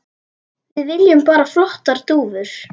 Við viljum bara flottar dúfur.